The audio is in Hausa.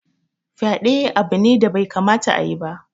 Fyaɗe abu ne da bai kamata a yi ba.